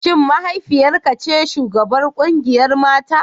Shin mahaifiyar ka ce shugabar kungiyar mata?